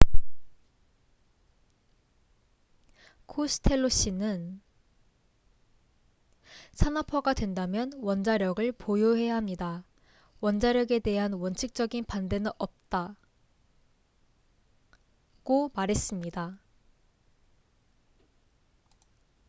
"코스텔로 씨는 "산업화가 된다면 원자력을 보유해야 합니다. 원자력에 대한 원칙적인 반대는 없다""고 말했습니다.